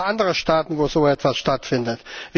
Gibt es auch andere Staaten, wo so etwas stattfindet?